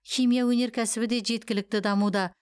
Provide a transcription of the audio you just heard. химия өнеркәсібі де жеткілікті дамуда